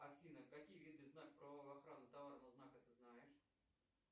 афина какие виды знак правовой охраны товарного знака ты знаешь